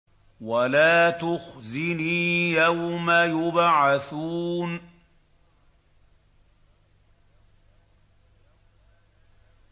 وَلَا تُخْزِنِي يَوْمَ يُبْعَثُونَ